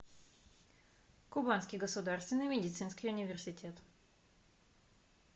кубанский государственный медицинский университет